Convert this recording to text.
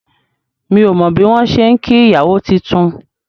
Mi ò mọ bí wọn ṣe ń kí ìyàwó titun